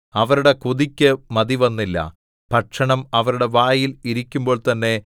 അവരുടെ കൊതിക്കു മതിവന്നില്ല ഭക്ഷണം അവരുടെ വായിൽ ഇരിക്കുമ്പോൾ തന്നെ